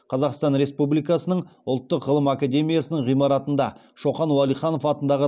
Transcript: қазақстан республикасының ұлттық ғылым академиясының ғимаратында шоқан уәлиханов атындағы